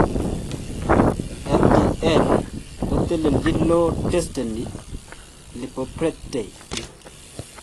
Ldl koteleljin low density lipoproteins